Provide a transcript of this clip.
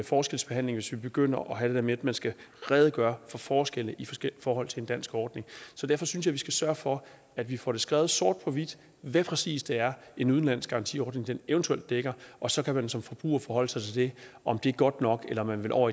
forskelsbehandling hvis vi begynder at have det der med at man skal redegøre for forskelle i forhold til en dansk ordning så derfor synes jeg vi skal sørge for at vi får skrevet sort på hvidt hvad præcis det er en udenlandsk garantiordning eventuelt dækker og så kan man som forbruger forholde sig til om det godt nok eller om man vil over